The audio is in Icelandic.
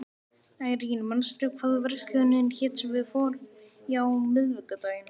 Irene, manstu hvað verslunin hét sem við fórum í á miðvikudaginn?